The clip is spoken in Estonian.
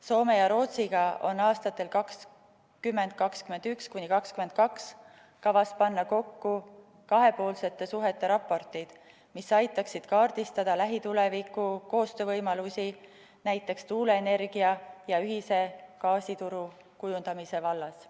Soome ja Rootsiga on aastatel 2021–2022 kavas panna kokku kahepoolsete suhete raportid, mis aitaksid kaardistada lähituleviku koostöövõimalusi, näiteks tuuleenergia ja ühise gaasituru kujundamise vallas.